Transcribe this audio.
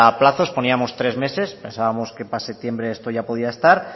plazos poníamos tres meses pensábamos que para septiembre esto ya podía estar